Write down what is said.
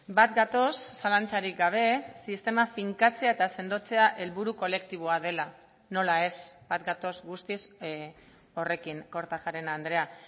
bat gatoz zalantzarik gabe sistema finkatzea eta sendotzea helburu kolektiboa dela nola ez bat gatoz guztiz horrekin kortajarena andrea